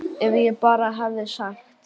Ef ég bara hefði sagt.